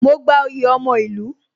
Mo gba oyè ọmọ ìlú